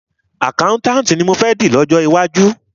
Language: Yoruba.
Àkáùntànti ni mọ fẹ́ di lọ́jọ́ iwájú.